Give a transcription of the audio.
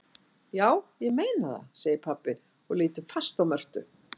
Já, ég meina það, segir pabbi og lítur fast á Mörtu.